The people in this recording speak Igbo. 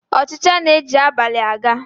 Ọchịcha na-eji abalị a ga